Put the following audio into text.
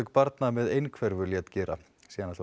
barna með einhverfu lét gera síðan